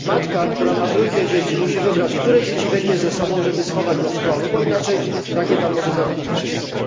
Matka, która ma trójkę dzieci, musi wybrać, które dzieci weźmie ze sobą, żeby schować do schronu, bo inaczej rakieta może zabić ich wszystkich.